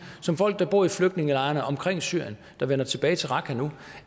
som folk der bor i flygtningelejrene omkring syrien der vender tilbage til raqqa nu